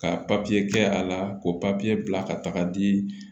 Ka papiye kɛ a la ko papiye bila ka taga di